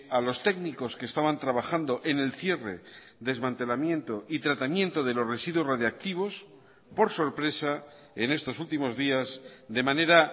a los técnicos que estaban trabajando en el cierre desmantelamiento y tratamiento de los residuos radiactivos por sorpresa en estos últimos días de manera